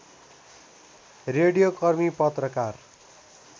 रेडियोकर्मी पत्रकार